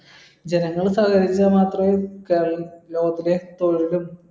ജനങ്ങൾ സഹകരിച്ച മാത്രമേ